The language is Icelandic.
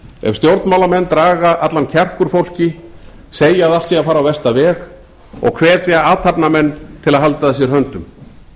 ef stjórnmálamenn draga allan kjark úr fólki segja því að allt sé að fara á versta veg og hvetja athafnamenn til að halda að sér höndum